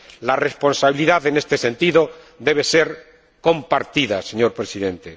La responsabilidad, en este sentido, debe ser compartida, señor Presidente.